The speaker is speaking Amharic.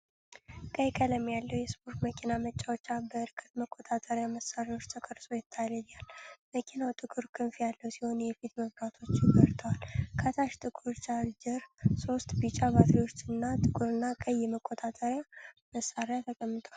ቀይ ቀለም ያለው የስፖርት መኪና መጫወቻ በእርቀት መቆጣጠሪያ መሳሪያዎች ተቀርጾ ይታያል። መኪናው ጥቁር ክንፍ ያለው ሲሆን የፊት መብራቶቹ በርተዋል። ከታች ጥቁር ቻርጀር፣ ሶስት ቢጫ ባትሪዎች እና ጥቁርና ቀይ የመቆጣጠሪያ መሳሪያ ተቀምጠዋል።